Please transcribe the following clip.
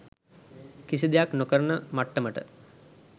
කිසි දෙයක් නොකරන මට්ටමට